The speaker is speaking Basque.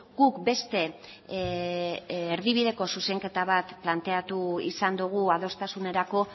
guk beste erdibideko zuzenketa bat planteatu izan dugu adostasunerako